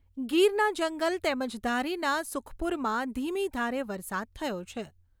ગીરના જંગલ તેમજ ધારીના સુખપુરમાં ધીમી ધારે વરસાદ થયો છે.